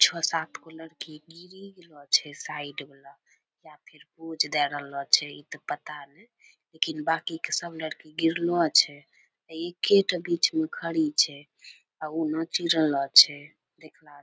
छो सात गो लड़की गिरी गेलो छै साइड मे या फिर पोज देए रहलो छै इ ते पता ने लेकिन बाकी के सब लड़की गिरलो छै एकेटा बीच मे खड़ी छै आ उ नाची रहलो छै देखला से --